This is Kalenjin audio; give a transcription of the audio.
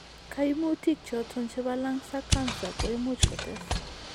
Kaimutikk choton chebo lungs ag cancer ko imuch kotes